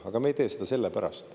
Aga me ei tee seda sellepärast.